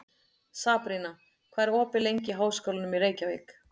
Sabrína, hvað er opið lengi í Háskólanum í Reykjavík?